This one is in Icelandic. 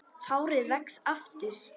Hárið vex aftur.